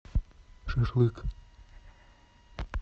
шашлык